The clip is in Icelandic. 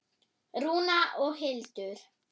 Rúna og Hildur.